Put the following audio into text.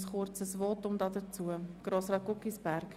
wer den Antrag SVP annimmt, stimmt Nein.